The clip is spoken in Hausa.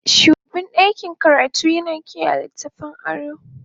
shugaban ɗakin karatu yana kiyaye littattafan aro.